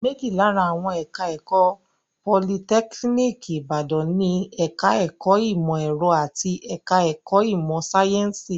Méjì lára àwọn ẹ̀ka-ẹ̀kọ́ Politẹ́kíníkì Ìbàdàn ni; ẹ̀ka-ẹ̀kọ́ ìmọ̀-ẹ̀rọ àti ẹ̀ka-ẹ̀kọ́ ìmọ̀-sáyẹ́ńsì.